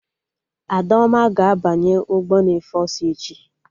Adaoma ga-abanye ụgbọ na-efe ọsọ echi